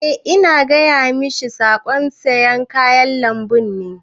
Eh ina gaya mashi saƙon sayan kayan lambun ne.